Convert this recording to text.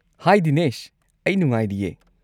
ꯍꯥꯏ ꯗꯤꯅꯦꯁ! ꯑꯩ ꯅꯨꯡꯉꯥꯏꯔꯤꯌꯦ꯫